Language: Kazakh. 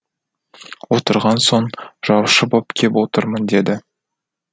отырған соң жаушы боп кеп отырмын деді